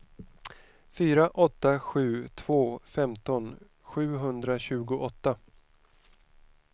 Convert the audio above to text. fyra åtta sju två femton sjuhundratjugoåtta